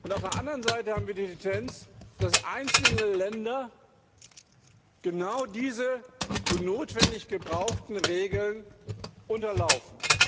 Auf der anderen Seite haben wir die Tendenz, dass einzelne Länder, genau diese so notwendig gebrauchten Regeln unterlaufen.